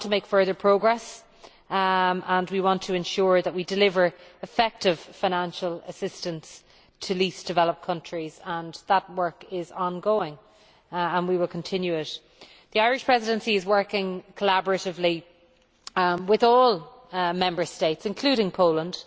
We want to make further progress and to ensure that we deliver effective financial assistance to the least developed countries. That work is ongoing and we will continue it. The Irish Presidency is working collaboratively with all Member States, including Poland,